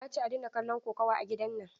Na ce a daina kallon kokawa a gidan nan!